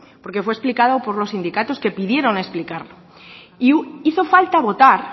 porque fue explicado por los sindicatos que pidieron explicarlo e hizo falta votar